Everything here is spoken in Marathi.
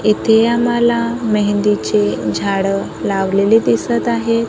येथे आम्हाला मेहंदीचे झाडं लावलेले दिसत आहेत.